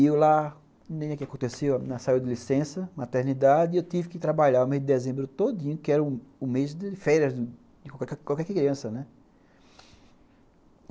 E eu lá, nem é que aconteceu, a menina saiu de licença, maternidade, e eu tive que trabalhar o mês de dezembro todinho, que era o mês de férias de qualquer criança, né.